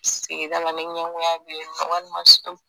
Sirgida la ni ɲɛgoya beyinnɔ walima so.